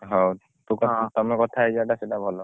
ହଉ ତମେ କଥା ହେଇଯିବା ଟା ସେଇଟା ଭଲ ହବ